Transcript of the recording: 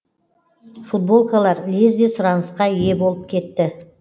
футболкалар лезде сұранысқа ие болып кетті